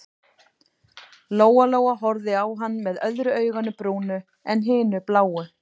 Lóa-Lóa horfði á hann með öðru auganu brúnu en hinu bláu.